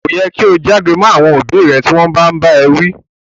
Ko yẹ ki o já'gbe mọ àwọn òbí rẹ ti wọn bàa n bá ẹ wi.